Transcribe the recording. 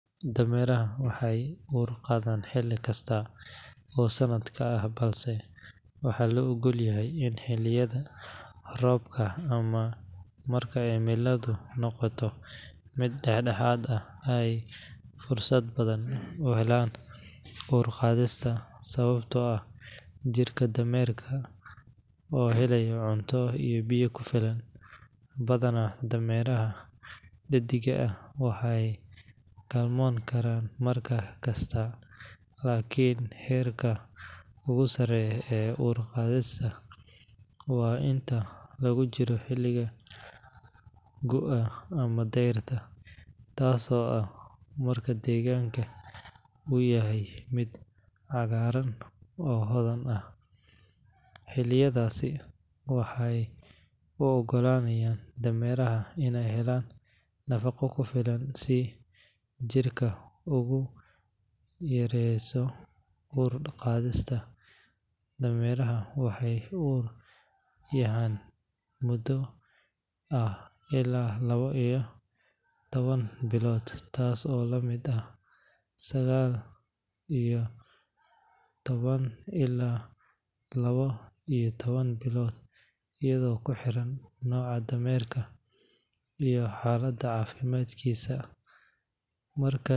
Dameeraha waxey uur qadhan xili kasta oo sanadka ah balse waxaa loo ogolyahy in xiliyadha rooba ama marka cimiladu noqoto mid daxdaxaad ah ay fursad badan uhelaan uur qadhista sababatoo ah jirka dameerka oo helayo cunto iyo biyo kufilan. Badhana dameeraha dhediga ah waxey galmoon karaan markasta laakin xerka ugusareeya ee uur qadhista waa inta lagujiro guua ama deerta taas oo ah marka degaanka uu yahay mid cagaaran oo hodhan ah. Xiliyadhaasi waxey u ugolaanayan dameeraha in ey helaan nafaqo kufilan si jirka uguyareeso uur qadhista. Dameeraha waxey uur yahaan mudo ah ila lawo iyo tawan bilood taas oo lamid ah sagaal iyo tawan ila lawo iyo tawan bilood iyadhoo kuxiran noca dameerka iyo noocan xaalada caafimadkisa.